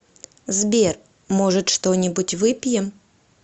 сбер может что нибудь выпьем